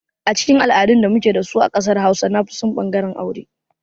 A cikin al'adun da muke da su a ƙasar hausawa nafison ɓangaren aure.